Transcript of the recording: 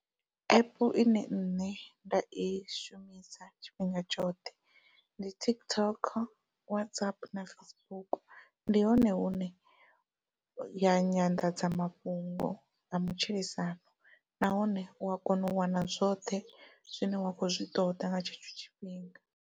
Epu ine nṋe nda i shumisa tshifhinga tshoṱhe ndi TikTok, WhatsApp, na Facebook ndi hone hune ya nyanḓadzamafhungo ya matshilisano nahone ua kona u wana zwoṱhe zwine wa kho zwi ṱoda nga tshetsho tshifhinga.